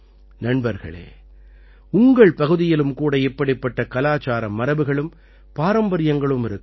நண்பர்களே உங்கள் பகுதியிலும் கூட இப்படிப்பட்ட கலாச்சார மரபுகளும் பாரம்பரியங்களும் இருக்கலாம்